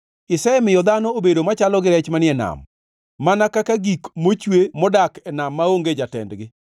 Isemiyo dhano obedo machalo gi rech manie nam, mana kaka gik mochwe modak e nam maonge jatendgi.